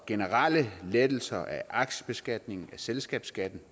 generelle lettelser af aktiebeskatningen af selskabsskatten